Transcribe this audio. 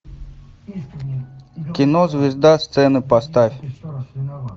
кино звезда сцены поставь